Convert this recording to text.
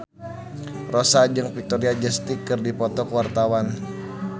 Rossa jeung Victoria Justice keur dipoto ku wartawan